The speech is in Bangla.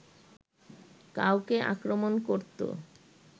কাউকে আক্রমণ করতো